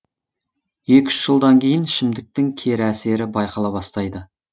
екі үш жылдан кейін ішімдіктің кері әсері байқала бастайды